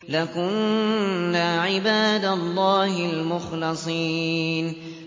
لَكُنَّا عِبَادَ اللَّهِ الْمُخْلَصِينَ